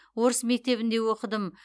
орыс мектебінде оқыдым